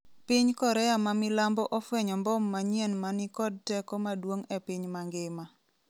piny Korea ma milambo ofwenyo mbom manyien ma ni kod teko maduong' e piny mangima